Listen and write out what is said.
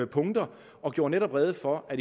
punkter og gjorde netop rede for at